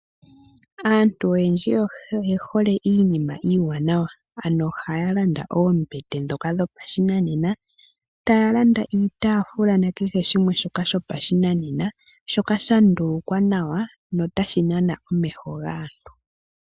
Aantu oyendji oye hole iinima iiwanawa. Ano ohaya landa oombete dhoka dhopashinanena, taya landa iitafuula nakehe shimwe shoka shopashinanena shoka sha ndulukwa nawa notashi nana omeho gaantu.